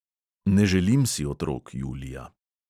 Ne želim si otrok, julija.